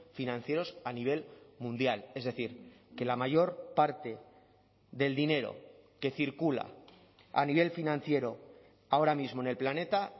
financieros a nivel mundial es decir que la mayor parte del dinero que circula a nivel financiero ahora mismo en el planeta